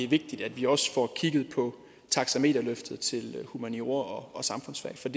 vigtigt at vi også får kigget på taxameterløftet til humaniora og samfundsfag for